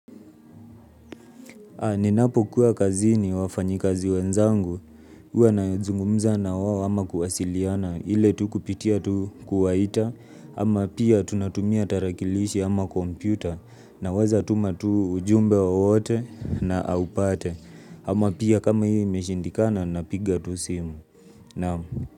Ninapokuwa kazini wafanyikazi wenzangu, huwa nazungumza na wao ama kuwasiliana, ile tu kupitia tu kuwaita, ama pia tunatumia tarakilishi ama kompyuta, naweza tuma tu ujumbe wowote na aupate, ama pia kama hiyo imeshindikana napiga tu simu.